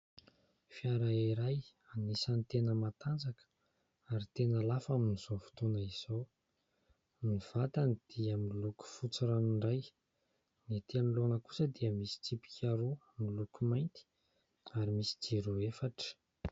Fiara iray anisany tena matanjaka ary tena lafo amin'izao fotoana izao. Ny vatany dia miloko fotsy ranoray, ny ety anoloana kosa dia misy tsipika roa miloko mainty ary misy jiro efatra.